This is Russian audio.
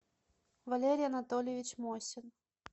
валерий анатольевич мосин